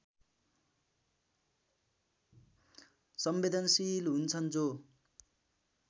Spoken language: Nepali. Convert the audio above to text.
संवेदनशील हुन्छन् जो